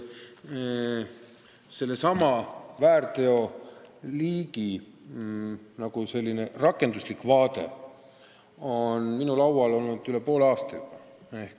Selle väärteomenetluse liigi rakenduslik plaan on minu laual olnud üle poole aasta.